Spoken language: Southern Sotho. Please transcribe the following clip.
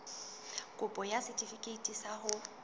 kopo ya setefikeiti sa ho